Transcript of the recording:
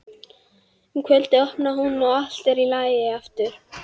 Um kvöldið opnar hún og allt er í lagi aftur.